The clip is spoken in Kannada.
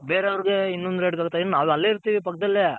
ಬೇರೆ ಅವರ್ಗೆ ಇನ್ನೊಂದ್ rate ಹೇಳ್ತಾರೆ ನಾವ್ ಅಲ್ಲೇ ಇರ್ತೀರಿ ಪಕ್ದಲ್ಲೇ